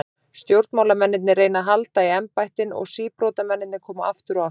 Stjórnmálamennirnir reyna að halda í embættin og síbrotamennirnir koma aftur og aftur.